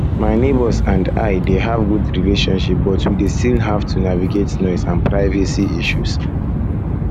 my neighbors and i dey have good relationship but we dey still have to navigate noise and privacy issues